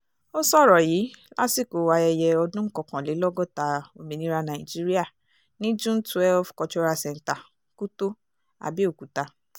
ó sọ̀rọ̀ yìí lásìkò ayẹyẹ ọdún kọkànlélọ́gọ́ta ominiria nàìjííríà ní june twelve cultural centre kútó abéòkúta